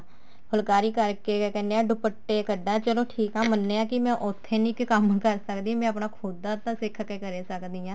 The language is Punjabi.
ਫੁਲਕਾਰੀ ਕਰਕੇ ਕਿਆ ਕਹਿਨੇ ਆ ਦੁਪੱਟੇ ਕੱਡ ਚਲੋ ਠੀਕ ਆ ਮੰਨਿਆ ਕੇ ਮੈਂ ਉੱਥੇ ਨੀ ਮੈਂ ਕੰਮ ਕਰ ਸਕਦੀ ਮੈਂ ਆਪਣਾ ਖੁਦ ਦਾ ਸਿੱਖ ਕੇ ਕਰ ਸਕਦੀ ਹਾਂ